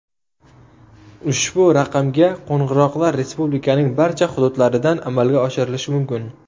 Ushbu raqamga qo‘ng‘iroqlar respublikaning barcha hududlaridan amalga oshirilishi mumkin.